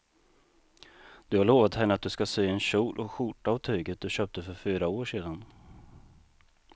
Du har lovat henne att du ska sy en kjol och skjorta av tyget du köpte för fyra år sedan.